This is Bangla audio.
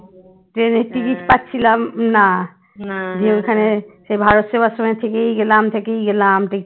ট্রেনের ticket পাচ্ছিলাম না দিয়ে ওইখানে সে ভারত সেবাশ্রমে থেকেই গেলাম থেকে গেলাম